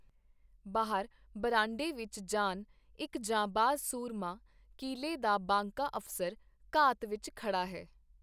ਬਾਹਰ ਬਰਾਂਡੇ ਵਿਚ ਜਾਨ, ਇਕ ਜਾਂਬਾਜ਼ ਸੂਰਮਾ, ਕੀਲੇ ਦਾ ਬਾਂਕਾ ਅਫਸਰ, ਘਾਤ ਵਿਚ ਖੜਾ ਹੈ.